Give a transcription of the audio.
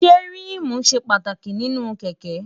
ṣé ríìmù ṣe pàtàkì nínú kẹ̀kẹ́?